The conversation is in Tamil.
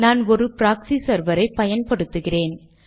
நாங்கள் ஒரு ப்ராக்ஸி செர்வர் ஐ பயன்படுத்துகிறோம்